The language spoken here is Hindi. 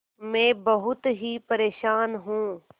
मैं बहुत ही परेशान हूँ